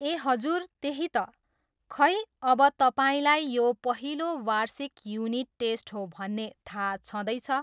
ए हजुर, त्यही त, खै अब तपाईँलाई यो पहिलो बार्षिक युनिट टेस्ट हो भन्ने थाहा छँदैछ।